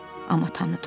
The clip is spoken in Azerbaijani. Amma tanıdım.